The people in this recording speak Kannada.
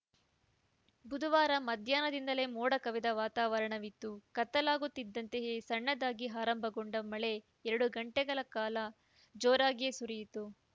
ಬುಧವಾರ ಮಧ್ಯಾಹ್ನದಿಂದಲೇ ಮೋಡ ಕವಿದ ವಾತಾವರಣ ಇತ್ತು ಕತ್ತಲಾಗುತ್ತಿದ್ದಂತೆಯೇ ಸಣ್ಣದಾಗಿ ಆರಂಭಗೊಂಡ ಮಳೆ ಎರಡು ಗಂಟೆಗಳ ಕಾಲ ಜೋರಾಗಿಯೇ ಸುರಿಯಿತು